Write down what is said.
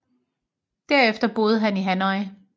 Der efter boede han i Hanoi